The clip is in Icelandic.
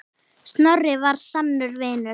Snorri var sannur vinur.